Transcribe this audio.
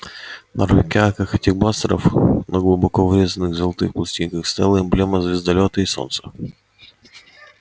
на рукоятках этих бластеров на глубоко врезанных золотых пластинках стояла эмблема звездолёта и солнца